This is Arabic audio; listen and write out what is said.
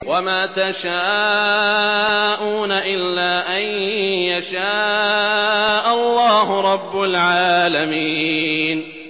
وَمَا تَشَاءُونَ إِلَّا أَن يَشَاءَ اللَّهُ رَبُّ الْعَالَمِينَ